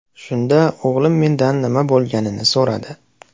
Shunda o‘g‘lim mendan nima bo‘lganini so‘radi.